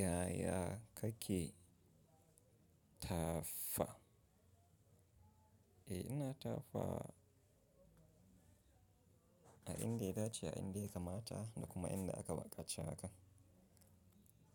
Yaya kake tafa? Eh ina tafa a inda ya dace, a inda ya kamata da kuma inda aka bukace haka.